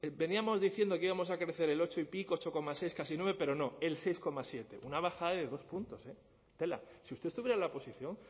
veníamos diciendo que íbamos a crecer el ocho y pico ocho coma seis casi nueve pero no el seis coma siete una bajada de dos puntos eh tela si usted estuviera en la oposición